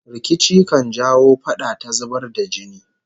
Rikici kan jawo fada ta zubar da jini